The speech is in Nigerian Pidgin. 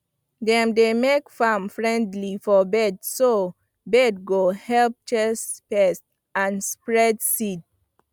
dem dey make farm friendly for birds so bird go help chase pest and spread seed